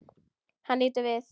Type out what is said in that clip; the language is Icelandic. Hann lítur við.